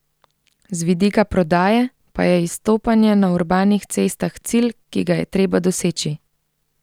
Z vidika prodaje pa je izstopanje na urbanih cestah cilj, ki ga je treba doseči.